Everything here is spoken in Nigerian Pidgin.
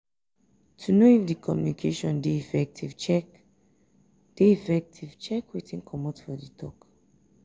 to know if di communication de effective check de effective check wetin come out for di talk